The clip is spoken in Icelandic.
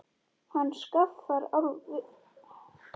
Hann skaffar vel.